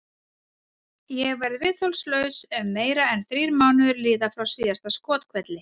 Ég verð viðþolslaus ef meira en þrír mánuðir líða frá síðasta skothvelli.